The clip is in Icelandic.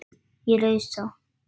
Ég rausa.